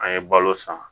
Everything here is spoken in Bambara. An ye balo san